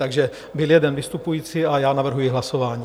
Takže byl jeden vystupující a já navrhuji hlasování.